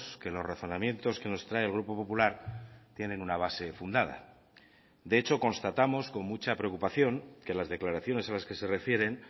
que los razonamientos que nos trae el grupo popular tienen una base fundada de hecho constatamos con mucha preocupación que las declaraciones a las que se refieren